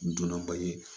Donna ba ye